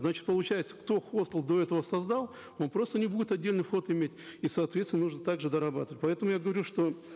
значит получается кто хостел до этого создал он просто не будет отдельный вход иметь и соответственно нужно также дорабатывать поэтому я говорю что